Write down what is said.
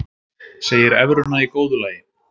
Segir evruna í góðu lagi